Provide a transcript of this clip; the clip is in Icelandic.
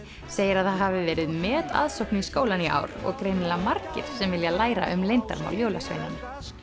segir að það hafi verið metaðsókn í skólann í ár og greinilega margir sem vilja læra um leyndarmál jólasveinanna